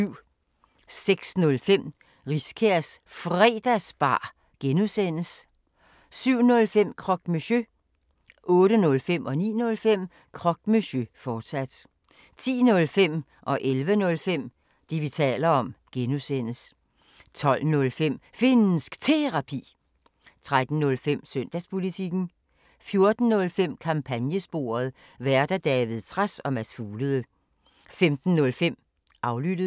06:05: Riskærs Fredagsbar (G) 07:05: Croque Monsieur 08:05: Croque Monsieur, fortsat 09:05: Croque Monsieur, fortsat 10:05: Det, vi taler om (G) 11:05: Det, vi taler om (G) 12:05: Finnsk Terapi 13:05: Søndagspolitikken 14:05: Kampagnesporet: Værter: David Trads og Mads Fuglede 15:05: Aflyttet